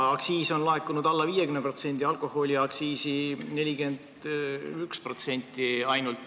Aktsiisi on laekunud alla 50%, alkoholiaktsiisi ainult 41%.